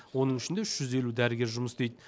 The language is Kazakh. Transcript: оның ішінде үш жүз елу дәрігер жұмыс істейді